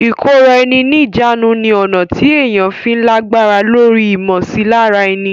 ìkóra ẹni níjàánu ni ọ̀nà tí èèyàn fi ń lágbára lóri ìmọsilára ẹni.